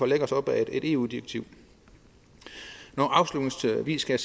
læne os op ad et eu direktiv afslutningsvis skal